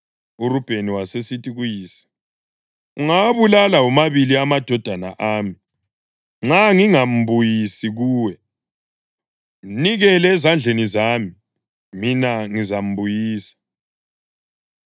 URubheni wasesithi kuyise, “Ungawabulala womabili amadodana ami nxa ngingangambuyisi kuwe. Mnikele ezandleni zami, mina ngizambuyisa.”